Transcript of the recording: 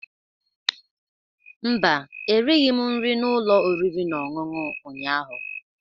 Mba, erighị m nri n'ụlọ oriri na ọṅụṅụ ụnyahụ.